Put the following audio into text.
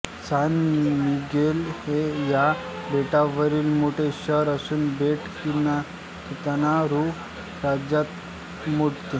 San Miguel हे या बेटावरील मोठे शहर असून बेट किंताना रू राज्यात मोडते